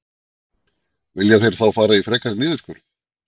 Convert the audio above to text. Vilja þeir þá fara í frekari niðurskurð?